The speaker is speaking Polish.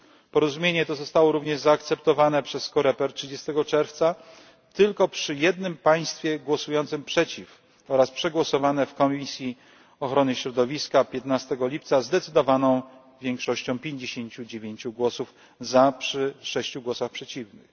Porozumienie to zostało również zaakceptowane przez COREPER 30 czerwca tylko przy jednym państwie głosującym przeciw oraz przegłosowane w Komisji Ochrony Środowiska 15 lipca zdecydowaną większością 59 głosów za, przy 6 głosach przeciwnych.